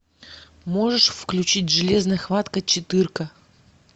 можешь включить железная хватка четырка